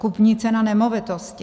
Kupní cena nemovitosti.